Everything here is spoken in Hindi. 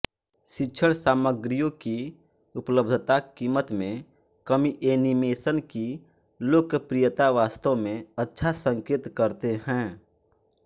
शिक्षणसामग्रियों की उपलब्धता कीमत में कमीएनीमेशन की लोकप्रियता वास्तव में अच्छा संकेत करते हैं